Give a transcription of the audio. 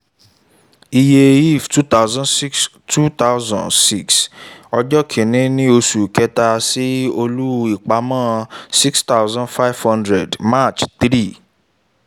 iye if two thousand six two thousand six ọjọ́ kin-ní oṣù kẹ́ta sí olú àpamọ́ six thousand five hundred march three